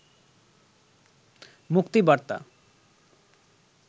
মুক্তিবার্তা